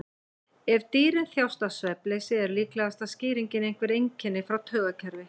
Ef dýrin þjást af svefnleysi er líklegasta skýringin einhver einkenni frá taugakerfi.